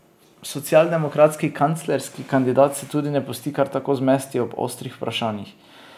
Socialdemokratski kanclerski kandidat se tudi ne pusti kar tako zmesti ob ostrih vprašanjih.